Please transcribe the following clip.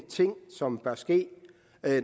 ting som bør ske